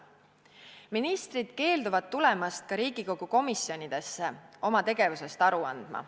Ministrid keelduvad tulemast ka Riigikogu komisjonidesse oma tegevusest aru andma.